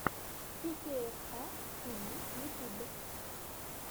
пикейэфа тиви ютьюб